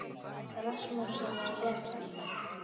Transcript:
Rasmussen er bjartsýnn